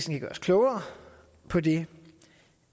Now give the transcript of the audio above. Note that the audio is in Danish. vil gøre os klogere på det